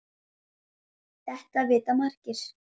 Þetta vita margir.